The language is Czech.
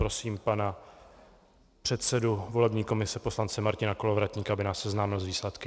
Prosím pana předsedu volební komise poslance Martina Kolovratníka, aby nás seznámil s výsledky.